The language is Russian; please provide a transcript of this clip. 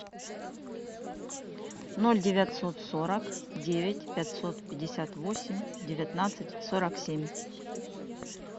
ноль девятьсот сорок девять пятьсот пятьдесят восемь девятнадцать сорок семь